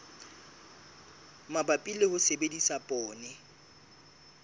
mabapi le ho sebedisa poone